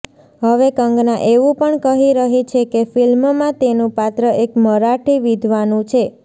હવે કંગના એવુ પણ કહી રહી છેકે ફિલ્મમા તેનુ પાત્ર એક મરાઠી વિધવાનુ છે